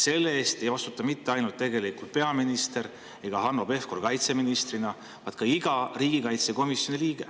Selle eest ei vastuta mitte ainult peaminister ega Hanno Pevkur kaitseministrina, vaid ka iga riigikaitsekomisjoni liige.